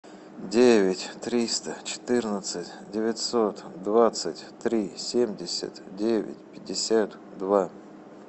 девять триста четырнадцать девятьсот двадцать три семьдесят девять пятьдесят два